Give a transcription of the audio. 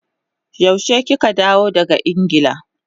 Yaushe kika dawo daga Ingila?